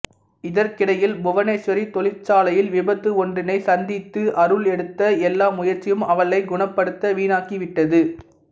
இதற்கிடையில் புவனேஷ்வரி தொழிற்சாலையில் விபத்து ஒன்றினை சந்தித்து அருள் எடுத்த எல்லா முயற்சியும் அவளை குணப்படுத்த வீணாகிவிட்டது